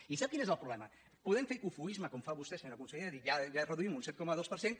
i sap quin és el problema podem fer cofoisme com fa vostè senyora consellera dient ja reduïm un set coma dos per cent